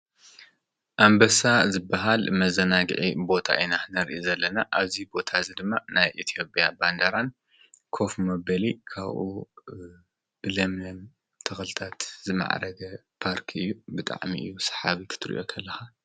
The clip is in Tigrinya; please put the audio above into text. ኣንበሳ ዝበሃል መዘናግዒ ቦታ ኢና ንርኢ ዘለና። ኣብዚ ቦታ እዚ ድማ ናይ ኢትዮጵያ ባንዴራን፣ ኮፍ መበሊ ካብኡ ለምለም ተኽልታት ዝማዕረገ ፓርክ እዩ። ብጣዕሚ እዩ ሰሓቢ ክትርእዮ ከለኻ።